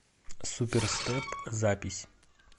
суперстеп запись